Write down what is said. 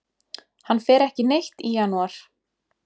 Hann fer ekki neitt í janúar.